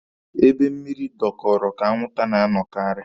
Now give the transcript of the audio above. Ebe mmịrị dọkọọrọ ka anwụnta na-anọkaarị.